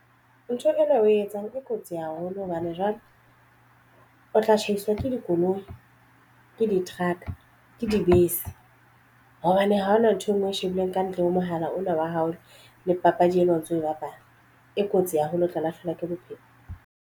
Ntho ena o e etsang e kotsi haholo hobane jwale o tla tshaiswa ke dikoloi ke di-truck-a ke dibese hobane ha hona nthwe ngwe o e shebileng ka ntle ho mohala ona wa haholo le papadi ena o ntso e bapala e kotsi haholo o tla lahlehelwa ke bophelo.